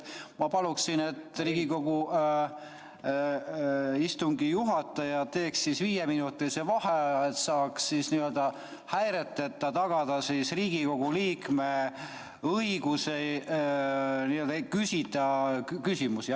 Ma palun, et Riigikogu istungi juhataja teeks viieminutilise vaheaja, et saaks häireteta tagada Riigikogu liikme õiguse küsida küsimusi.